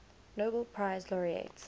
nobel prize laureate